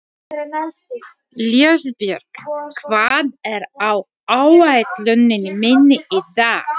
Ljósbjörg, hvað er á áætluninni minni í dag?